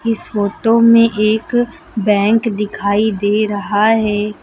इस फोटो में एक बैंक दिखाई दे रहा है।